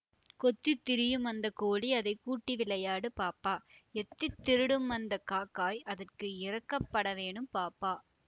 கொத்தித் திரியுமந்தக் கோழி அதை கூட்டி விளையாடு பாப்பா எத்தித் திருடுமந்தக் காக்காய் அதற்கு இரக்கப் படவேணும் பாப்பா